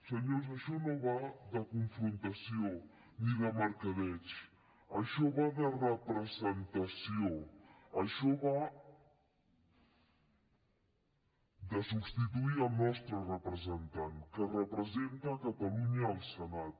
senyors això no va de confrontació ni de mercadeig això va de representació això va de substituir el nostre representant que representa catalunya al senat